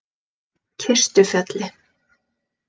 Kistufelli